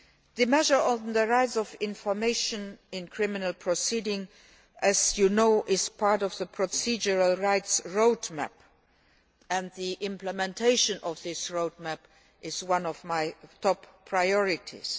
The measure on the right of information in criminal proceedings, as you know, is part of the Procedural Rights Roadmap and the implementation of this roadmap is one of my top priorities.